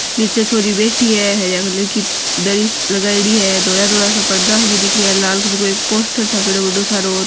निचे छोरी बैठी है हर कलर की दरी लगायेड़ी है धोला धोला सा पड़दा दिख रा है लाल कलर पोस्टर छापेडा है बड़ों सारो --